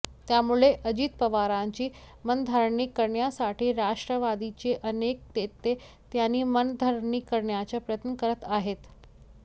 त्यामुळे अजित पवारांची मनधरणी करण्यासाठी राष्ट्रवादीचे अनेक नेते त्यांची मनधरणी करण्याचा प्रयत्न करत आहेत